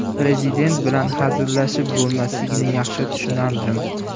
Prezident bilan hazillashib bo‘lmasligini yaxshi tushunardim.